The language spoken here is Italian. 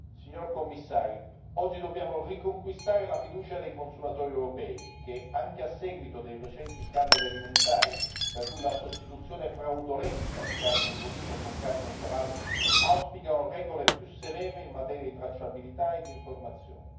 Signor Commissario, oggi dobbiamo riconquistare la fiducia dei consumatori europei che, anche a seguito dei recenti scandali alimentari, tra cui la sostituzione fraudolenta di carni bovine con carne di cavallo, auspicano regole più severe in materia di tracciabilità e di informazione.